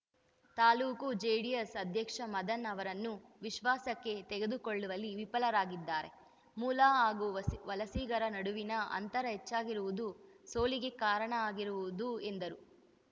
ತಾಲೂಕು ಜೆಡಿಎಸ್‌ ಅಧ್ಯಕ್ಷ ಮದನ್‌ ಅವರನ್ನು ವಿಶ್ವಾಸಕ್ಕೆ ತೆಗೆದುಕೊಳ್ಳುವಲ್ಲಿ ವಿಫರಾಗಿದ್ದಾರೆ ಮೂಲ ಹಾಗೂ ವಸಿ ವಲಸಿಗರ ನಡುವಿನ ಅಂತರ ಹೆಚ್ಚಾಗಿರುವುದು ಸೋಲಿಗೆ ಕಾರಣ ಆಗಿರುವುದು ಎಂದರು